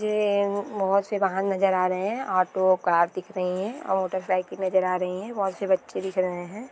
ये बहुत से वाहन नजर आ रहे हैं ऑटो कार दिख रही है और मोटरसाइकिल नजर आ रही है बहुत से बच्चे दिख रहे हैं।